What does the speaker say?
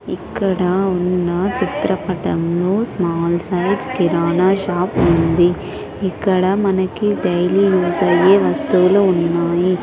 ఇక్కడ ఉన్న చిత్రపటంలో స్మాల్ సైజ్ కిరాణా షాప్ ఉంది ఇక్కడ మనకి డైలీ యూస్ అయ్యే వస్తువులు ఉన్నాయి.